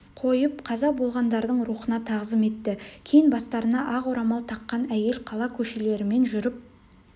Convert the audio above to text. қойып қаза болғандардың рухына тағзым етті кейін бастарына ақ орамал таққан әйел қала көшелерімен жүріп